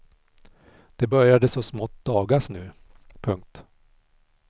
Det började så smått dagas nu. punkt